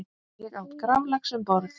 Ég át graflax um borð.